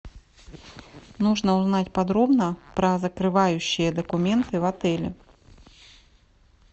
нужно узнать подробно про закрывающие документы в отеле